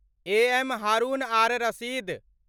एएम हारून आर रशीद